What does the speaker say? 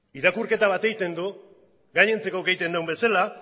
irakurketa bat egiten du gainontzekoek egiten dugun bezala